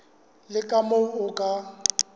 le ka moo o ka